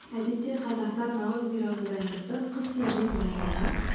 әдетте қазақтар наурыз мейрамына дайындықты қыс кезінен бастаған